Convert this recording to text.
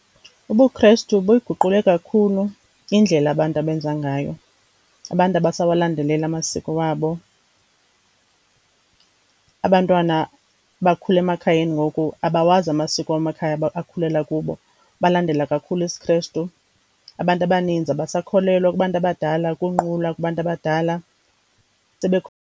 UbuKristu buyiguqule kakhulu indlela abantu abenza ngayo. Abantu abasawalandeleli amasiko wabo, abantwana bakhule emakhayeni ngoku abawazi amasiko wamakhaya akhulela kubo, balandela kakhulu isiKristu. Abantu abaninzi abasakholelwa kubantu abadala ukunqula kubantu abadala .